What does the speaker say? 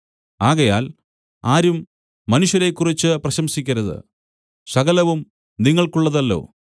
ആകയാൽ ആരും മനുഷ്യരെക്കുറിച്ച് പ്രശംസിക്കരുത് സകലവും നിങ്ങൾക്കുള്ളതല്ലോ